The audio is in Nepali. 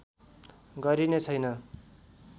गरिने छैन